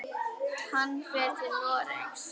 Hann fer til Noregs.